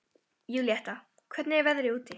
Júlíetta, hvernig er veðrið úti?